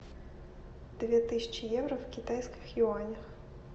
две тысячи евро в китайских юанях